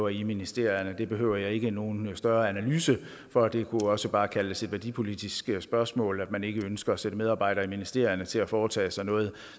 i ministerierne det behøver jeg ikke nogen større analyse af for det kunne også bare kaldes et værdipolitisk spørgsmål at man ikke ønsker at sætte medarbejdere i ministerierne til at foretage sig noget